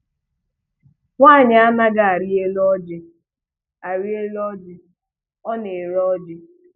Nwaanyi a naghị arị elu ọjị arị elu ọjị ọ na-ere ọjị.